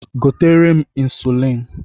Gotere m ịnsụlịn!